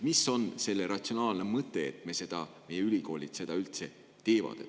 Mis on selle ratsionaalne mõte, et meie ülikoolid seda teevad?